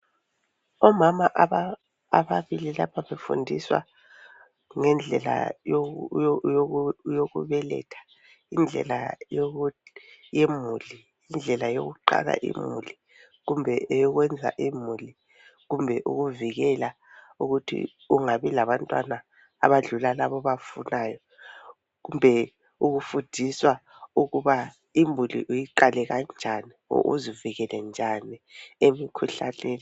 Omama lapha ababili bafundiswa ngendlela yokubeletha , ngendlela yemuli, ngendlela yokuqala imuli, yokwenza imuli loba yokuvikela ukuthi ungabi labantwana obafunsayo loba uzivikele njani emkhuhlaneni.